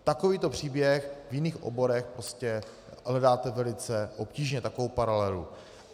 Takový příběh v jiných oborech hledáte velice obtížně, takovou paralelu.